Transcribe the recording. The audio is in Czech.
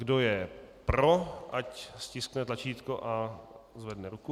Kdo je pro, ať stiskne tlačítko a zvedne ruku.